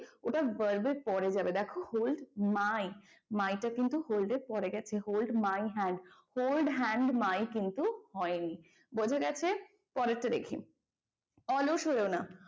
ওটা verb এর পরে যাবে দেখো hold my my টা কিন্তু hold এর পরে গেছে hold my hand. hold hand my কিন্তু হয়নি বোঝা গেছে? পরেরটা দেখি অলস হইও না।